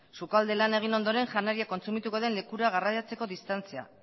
sukalde lana egin ondoren janaria kontsumituko den lekura garraiatzeko distantzia